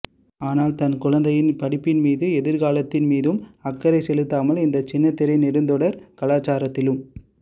ஆனால் தன் குழந்தையின் படிப்பின்மீதும் எதிர்காலத்தின் மீதும் அக்கறை செலுத்தாமல் இந்த சின்னத்திரை நெடுந்தொடர் கலாச்சாரத்திலும்